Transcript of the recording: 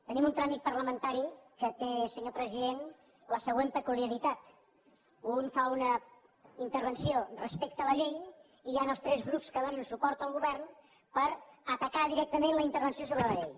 tenim un tràmit parlamentari que té senyor president la següent peculiaritat un fa una intervenció respecte a la llei i hi han els tres grups que donen suport al govern per atacar directament la intervenció sobre la llei